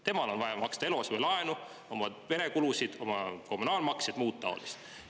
Tal on vaja maksta eluasemelaenu, oma perekulusid, kommunaalmakseid ja kõike muud.